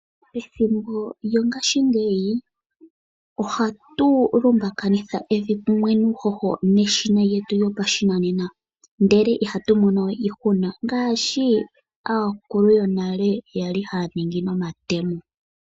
Ethimbo lyongaashingeyi ohatu lungakanitha evi lyetu nuuhoho neshina ndyoka lyopashinanena, ndele ihatu monowe iihuna ngaashi aakulu yonale kwali haya longitha omatemo.